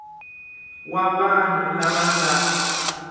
wa vanhu lava va nga